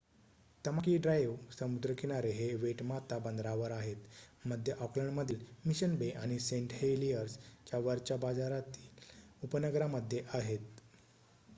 Tamaki drive समुद्रकिनारे हे Waitemata बंदरावर आहेत मध्य ऑकलंड मधील मिशन बे आणि सेंट हेलीयर्स च्या वरच्या बाजारातील उपनगरा मध्ये आहेत